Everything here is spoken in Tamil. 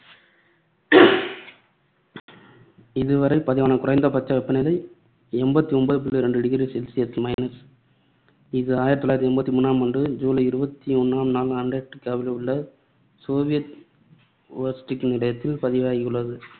இதுவரை பதிவான குறைந்தபட்ச வெப்பநிலை எண்பத்தி ஒன்பது புள்ளி ரெண்டு degree celsius இது ஆயிரத்து தொள்ளாயிரத்து எண்பத்தி மூணாம் ஆண்டு ஜுலை இருபத்தி ஒண்ணாம் நாள் அண்டார்டிக்காவில் உள்ள சோவியத் வோஸ்டக் நிலையத்தில் பதிவாகியுள்ளது.